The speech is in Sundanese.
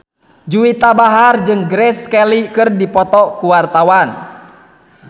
Juwita Bahar jeung Grace Kelly keur dipoto ku wartawan